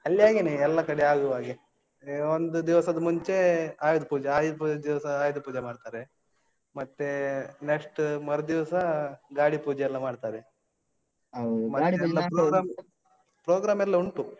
ಅಲ್ಲಿ ಹಾಗೇನೆ ಎಲ್ಲ ಕಡೆ ಆಗುವ ಹಾಗೆ. ಆ ಒಂದು ದಿವಸದ ಮುಂಚೆ ಆಯುಧ್ ಪೂಜಾ. ಆಯುಧ್ ಪೂಜಾದ್ ದಿವಸ ಆಯುಧ್ ಪೂಜೆ ಮಾಡ್ತಾರೆ. ಮತ್ತೆ next ಮರುದಿವಸ ಗಾಡಿ ಪೂಜೆಯೆಲ್ಲಾ ಮಾಡ್ತಾರೆ. program ಎಲ್ಲ ಉಂಟು.